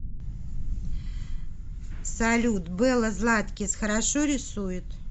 салют белла златкис хорошо рисует